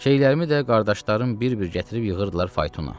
Şeylərimi də qardaşlarım bir-bir gətirib yığırdılar faytona.